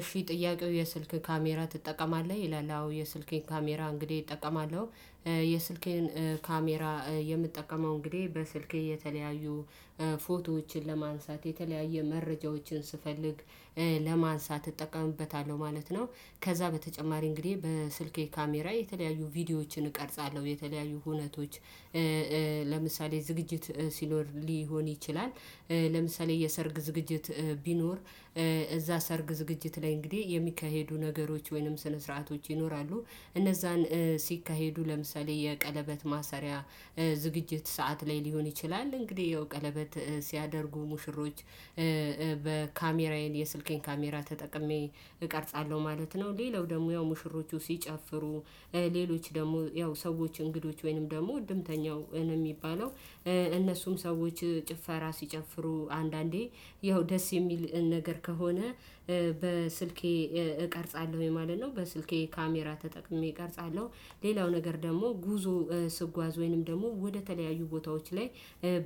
እሺ ጥያቄው የስልክ ካሜራ ትጠቀማለህ ይላል? አዎ የስልኬን ካሜራ እንግዲህ እጠቀማለሁ የስልኬን ካሜራ የምጠቀመው እንግዲህ በስልኬ የተለያዩ ፎቶዎችን ለማንሳት የተለያየ መረጃዎችን ስፈልግ ለማንሳት እጠቀምበታለሁ ማለት ነው። ከዛ በተጨማሪ እንግዲህ በስልኬ ካሜራ የተለያዩ ቪዲዮዎችን እቀርጻለሁ የተለያዩ ሁነቶች ለምሳሌ ዝግጅት ሲኖር ሊሆን ይችላል። ለምሳሌ የሰርግ ዝግጅት ቢኖር እዛ ሰርግ ዝግጅት ላይ እንግዲህ የሚካሄዱ ነገሮች ወይንም ስነ ስርዓቶች ይኖራሉ። እነዛን ሲካሄዱ ለምሳሌ የቀለበት ማሰሪያ ዝግጅት ሰዓት ላይ ሊሆን ይችላል እንግዲህ ይሄው ቀለበት ሲያደርጉ ሙሽሮች የስልኬን ካሜራ ተጠቅሜ እቀርጻለሁ ማለት ነው። ሌላው ደግሞ ያው ሙሽሮቹ ሲጨፍሩ ሌሎች ደግሞ ያው ሰዎች እንግዶች ወይንም ደግሞ እድምተኛው ነው የሚባለው። እነሱም ሰዎች ጭፈራ ሲጨፍሩ አንዳንዴ ያው ደስ የሚል ነገር ከሆነ በስልኬ እቀርጻለሁኝ ማለት ነው። በስልኬ ካሜራ ተጠቅሜ እቀርጻለሁ። ሌላው ነገር ደግሞ ጉዞ ስጓዝ ወይንም ደግሞ ወደ ተለያዩ ቦታዎች ላይ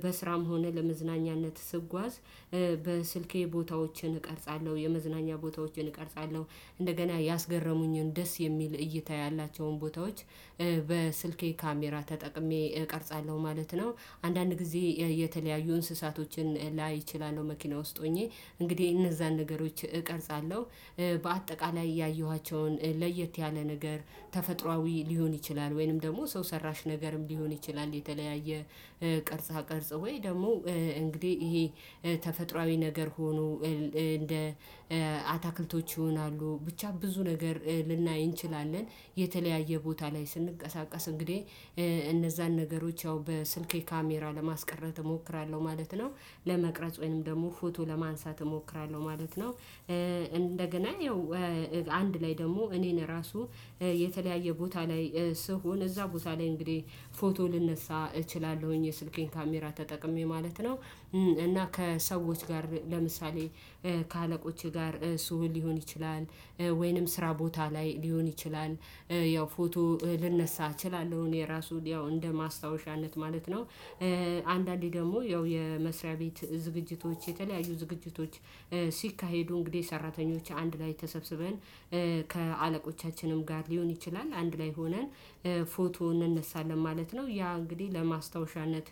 በስራም ሆነ ለመዝናኛነት ስጓዝ በስልኬ ቦታዎችን እቀርጻለሁ የመዝናኛ ቦታዎችን እቀርጻለሁ። እንደገና ያስገረሙኝን ደስ የሚል እይታ ያላቸውን ቦታዎች በስልኬ ካሜራ ተጠቅሜ እቀርጻለሁ ማለት ነው። አንዳንድ ጊዜ የተለያዩ እንስሳቶችን ላይ እችላለሁ መኪና ውስጥ ሆኜ እንግዲህ እነዛን ነገሮች እቀርጻለሁ። በአጠቃላይ ያየኋቸውን ለየት ያለ ነገር ተፈጥሯዊ ሊሆን ይችላል ወይንም ደግሞ ሰው ሰራሽ ነገርም ሊሆን ይችላል። የተለያየ ቅርጽ ቅርጽ ወይ ደግሞ እንግዲህ ይሄ ተፈጥሯዊ ነገር ሆኖ እንደ አታክልቶች ይሆናሉ ብቻ ብዙ ነገር ልናይ እንችላለን። የተለያየ ቦታ ላይ ስንቀሳቀስ እንግዲህ እነዛን ነገሮች ያው በስልኬ ካሜራ ለማስቀረት እሞክራለሁ ማለት ነው። ለመቅረጽ ወይንም ደግሞ ፎቶ ለማንሳት እሞክራለሁ ማለት ነው። እንደገና ያው አንድ ላይ ደግሞ እኔን ራሱ የተለያየ ቦታ ላይ ስሆን እዛ ቦታ ላይ እንግዲህ ፎቶ ልነሳ እችላለሁኝ የስልኬን ካሜራ ተጠቅሜ ማለት ነው። እና ከሰዎች ጋር ለምሳሌ ከአለቆቼ ጋር ስሆን ሊሆን ይችላል ወይንም ስራ ቦታ ላይ ሊሆን ይችላል ያው ፎቶ ልነሳ እችላለሁ እኔ ራሱ ያው እንደ ማስታወሻነት ማለት ነው። አንዳንዴ ደግሞ ያው የመሥሪያ ቤት ዝግጅቶች የተለያዩ ዝግጅቶች ሲካሄዱ እንግዲህ ሰራተኞች አንድ ላይ ተሰብስበን ከአለቆቻችንም ጋር ሊሆን ይችላል አንድ ላይ ሆነን ፎቶ እንነሳለን ማለት ነው። ያ እንግዲህ ለማስታወሻነት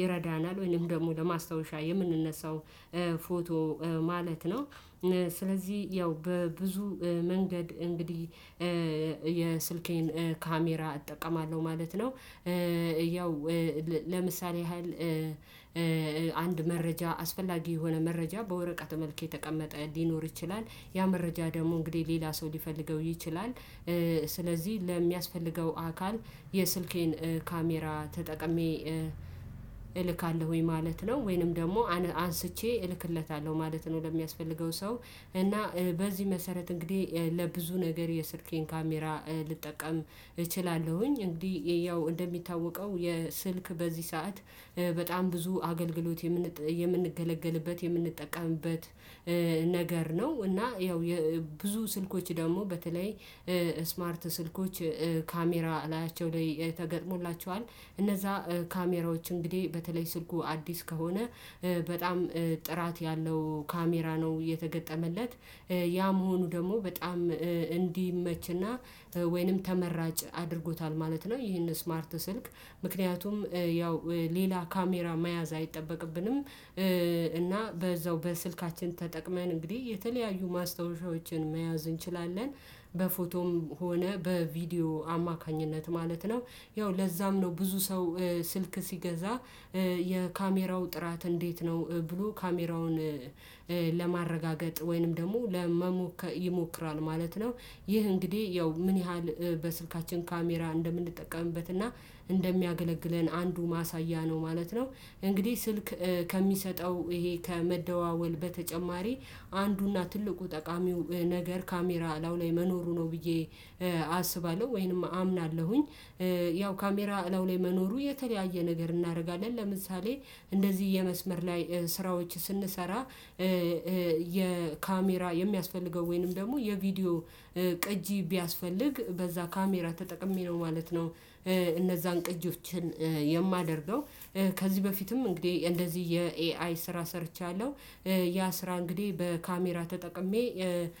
ይረዳናል ወይንም ደግሞ ለማስታወሻ የምንነሳው ፎቶ ማለት ነው። ስለዚህ ያው በብዙ መንገድ እንግዲህ የስልኬን ካሜራ እጠቀማለሁ ማለት ነው። ያው ለምሳሌ ያህል አንድ መረጃ አስፈላጊ የሆነ መረጃ በወረቀት መልክ የተቀመጠ ሊኖር ይችላል ያ መረጃ ደግሞ እንግዲህ ሌላ ሰው ሊፈልገው ይችላል። ስለዚህ ለሚያስፈልገው አካል የስልኬን ካሜራ ተጠቅሜ እልካለሁኝ ማለት ነው። ወይንም ደግሞ አንስቼ እልክለታለሁ ማለት ነው። ለሚያስፈልገው ሰው እና በዚህ መሰረት እንግዲህ ለብዙ ነገር የስልኬን ካሜራ ልጠቀም እችላለሁኝ። እንግዲህ ያው እንደሚታወቀው የስልክ በዚህ ሰዓት በጣም ብዙ አገልግሎት የምንጥ የምንገለገልበት የምንጠቀምበት ነገር ነው። እና ያው የ ብዙ ስልኮች ደግሞ በተለይ ስማርት ስልኮች ካሜራ ከላያቸው ላይ ተገጥሞላችኋል እነዛ ካሜራዎች እንግዲህ በተለይ ስልኩ አዲስ ከሆነ በጣም ጥራት ያለው ካሜራ ነው እየተገጠመለት ያ መሆኑ ደግሞ በጣም እንዲመች እና ወይንም ተመራጭ አድርጎታል ማለት ነው። ይህን ስማርት ስልክ ምክንያቱም ያው ሌላ ካሜራ መያዝ አይጠበቅብንም። እና በዛው በስልካችን ተጠቅመን እንግዲህ የተለያዩ ማስታወሻዎችን መያዝ እንችላለን። በፎቶም ሆነ በቪዲዮ አማካኝነት ማለት ነው። ያው ለዛም ነው ብዙ ሰው ስልክ ሲገዛ የካሜራው ጥራት እንዴት ነው ብሎ ካሜራውን ለማረጋገ ወይንም ደግሞ ለመሞከር ይሞክራል ማለት ነው። ይህ እንግዲህ ያው ምን ያህል በስልካችን ካሜራ እንደምንጠቀምበት እና እንደሚያገለግለን አንዱ ማሳያ ነው። ማለት ነው። እንግዲህ ስልክ ከሚሰጠው ይሄ ከመደዋወል በተጨማሪ አንዱ እና ትልቁ ጠቃሚው ነገር ካሜራ ከላዩ ላይ መኖሩ ነው ብዬ አስባለሁ። ወይንም አምናለሁኝ። ያው ካሜራ ከላዩ ላይ መኖሩ የተለያየ ነገር እናደርጋለን ለምሳሌ እንደዚህ የመስመር ላይ ስራዎች ስንሰራ የካሜራ የሚያስፈልገው ወይንም ደግሞ የቪዲዮ ቅጂ ቢያስፈልግ በዛ ካሜራ ተጠቅሜ ነው ማለት ነው። እነዛን ቅጂዎችን የማደርገው ከዚህ በፊትም እንግዲህ እንደዚህ የኤአይ ስራ ሰርቻለሁ። ያ ስራ እንግዲህ በካሜራ ተጠቅሜ